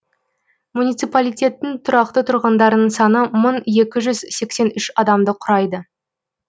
муниципалитеттің тұрақты тұрғындарының саны мың екі жүз сексен үш адамды құрайды